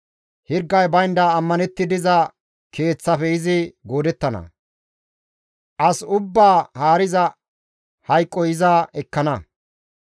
Hirgay baynda ammanetti diza keeththafe izi goodettana; as ubbaa haariza hayqoy iza ekkana.